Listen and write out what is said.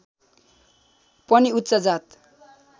पनि उच्च जात